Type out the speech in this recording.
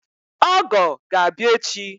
Ọgọ ga-abịa echi